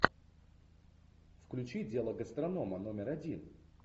включи дело гастронома номер один